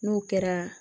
N'o kɛra